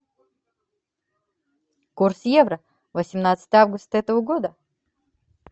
курс евро восемнадцатое августа этого года